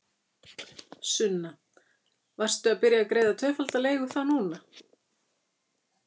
Sunna: Varstu að byrja að greiða tvöfalda leigu þá núna?